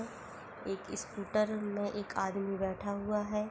एक स्कूटर में एक आदमी बैठा हुआ है।